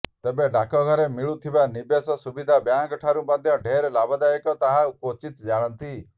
ତେବେ ଡାକଘରେ ମିଳିଥୁବା ନିବେଶ ସୁବିଧା ବ୍ୟାଙ୍କଠାରୁ ମଧ୍ୟ ଢେର ଲାଭଦାୟକ ତାହା କ୍ୱଚିତ୍ ଜାଣନ୍ତି